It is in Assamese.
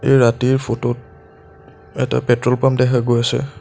ৰাতিৰ ফটোত এটা পেট্ৰল পাম্প দেখা গৈ আছে।